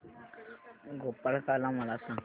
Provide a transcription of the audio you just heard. गोपाळकाला मला सांग